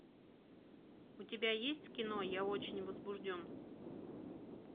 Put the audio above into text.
у тебя есть кино я очень возбужден